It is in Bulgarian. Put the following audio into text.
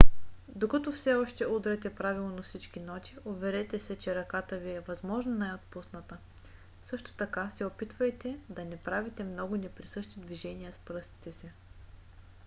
докато все още удряте правилно всички ноти уверете се че ръката ви е възможно най - отпусната; също така се опитайте да не правите много неприсъщи движения с пръстите си